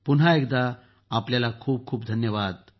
पुन्हा एकदा आपल्याला खूप खूप धन्यवाद